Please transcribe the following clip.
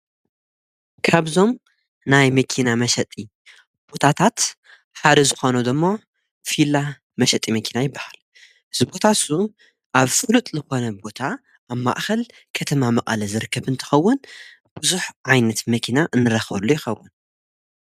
ካብዞም ናይ መኪና መሸጢቦታታት ሓደ ዝኾኖ ደሞ ፊላ መሸጢ መኪና ይበሃል። እዚ ቦታ እሱ ኣብ ፍሉጥ ልኾነ ቦታ ኣብ ማእኸል ከተማ መቀለ ዝርከብ እንተኸውን ብዙሕ ዓይነት መኪና እንረኸበሉ ይኸውን።